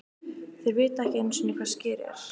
Þeir vita ekki einusinni hvað Skyr ER?!